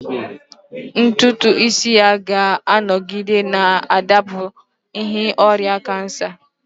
Ntutu isi ya ga-anọgide na-adapụ n'ihi ọrịa kansa